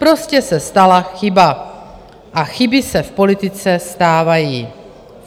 Prostě se stala chyba a chyby se v politice stávají.